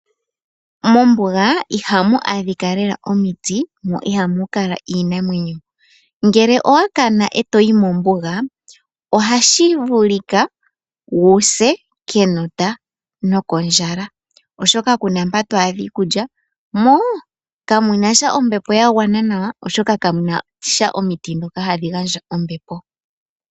Mombuga ihamu adhika lela omiti no ihamu kala iinamwenyo ngele owakana ndele toyi mombuga ohashi vulika wuse kenota nokondjala oshoka kuna mpo to adha iikulya mo kamunasha ombepo yagwana nawa oshoka kamuna omiti dhoka hadhi gandja ombepo.